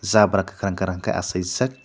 jabra kakrang kakrang ke asai jak.